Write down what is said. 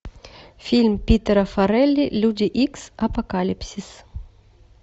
фильм питера фаррелли люди икс апокалипсис